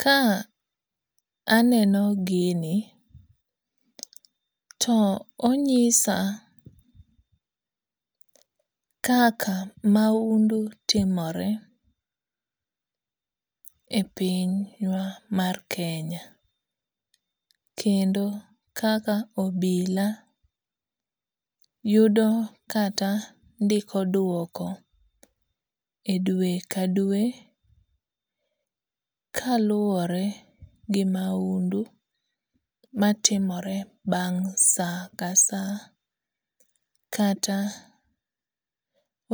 Ka aneno gini to onyisa kaka maundu timore e piny wa mar Kenya. Kendo kaka obila yudo kata ndiko duoko e dwe ka dwe kaluwore gi maundu matimore bang' sa ka sa kata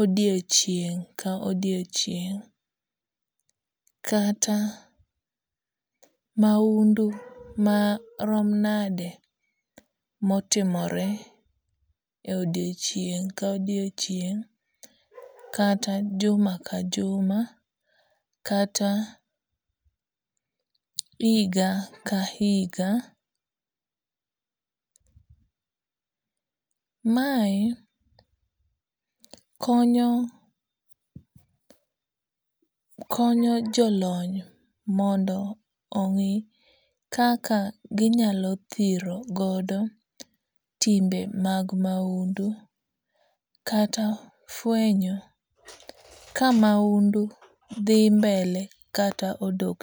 odiochieng' ka odiochieng' kata maundu marom nade motimore odiochieng' ka odiochieng' kata juma ka juma kata higa ka higa. Mae konyo konyo jolony mondo ong'i kaka ginyalo thiro godo timbe mag maundu kata fwenyo ka maundu dhi mbele kata odok.